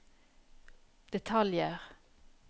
detaljer